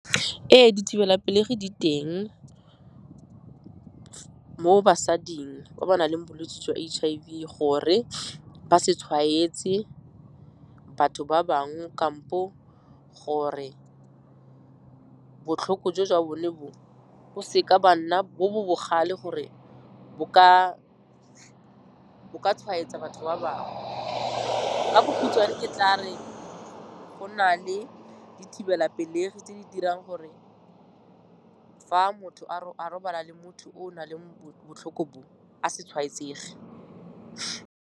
Ee, dithibelapelegi di teng mo basading ba ba nang le bolwetse jwa H_I_V gore ba se tshwaetse batho ba bangwe kampo gore botlhoko jo jwa bone bo, bo seka ba nna bo bo bogale gore bo ka tshwaetsa batho ba bangwe. Ka bokhutswane ke tla re go na le dithibelapelegi tse di dirang gore fa motho a robala le motho o o nang le botlhoko bo, a se tshwaetsege.